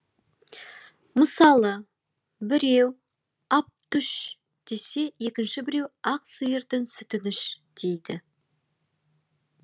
мысалы біреу ап түш десе екінші біреу ақ сиырдың сүтін іш дейді